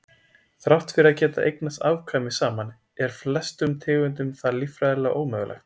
Þrátt fyrir að geta eignast afkvæmi saman er flestum tegundum það líffræðilega ómögulegt.